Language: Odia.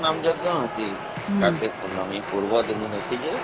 ସେଠି ତ ନାମଯଜ୍ଞ ଅଛିକାର୍ତିକ ପୂର୍ଣମୀ ପୂର୍ବଦିନ ଅଛି ଯେ